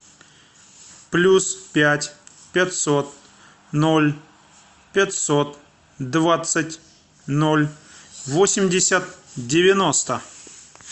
плюс пять пятьсот ноль пятьсот двадцать ноль восемьдесят девяносто